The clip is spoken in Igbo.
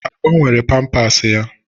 A gbanwere pampas ya?